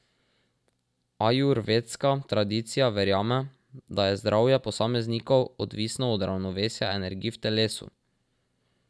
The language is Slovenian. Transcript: Ajurvedska tradicija verjame, da je zdravje posameznikov odvisno od ravnovesja energij v telesu.